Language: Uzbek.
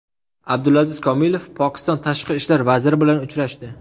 Abdulaziz Kamilov Pokiston tashqi ishlar vaziri bilan uchrashdi.